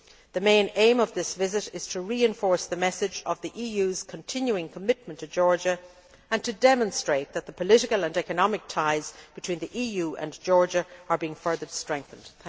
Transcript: The main aim of this visit is to reinforce the message of the EU's continuing commitment to Georgia, and to demonstrate that the political and economic ties between the EU and Georgia are being further strengthened.